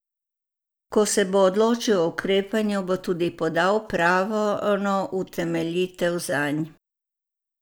Ko se bo odločil o ukrepanju, bo tudi podal pravno utemeljitev zanj.